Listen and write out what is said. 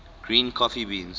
green coffee beans